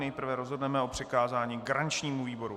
Nejprve rozhodneme o přikázání garančnímu výboru.